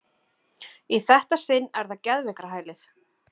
Í þetta sinn er það geðveikrahælið.